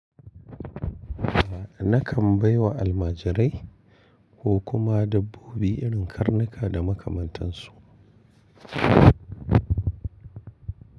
A'a na kan bai wa almajirai ko kuma dabbobi irin karnuka da makamantansu.